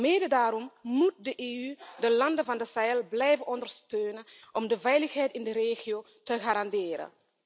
Mede daarom moet de EU de landen van de Sahel blijven ondersteunen om de veiligheid in de regio te garanderen.